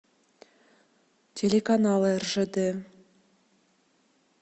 телеканал ржд